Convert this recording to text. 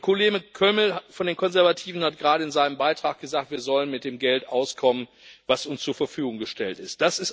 Der Kollege Kölmel von den Konservativen hat gerade in seinem Beitrag gesagt Wir sollen mit dem Geld auskommen, das uns zur Verfügung gestellt ist.